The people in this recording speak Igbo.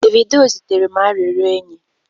Davido zitere m arịrịọ enyi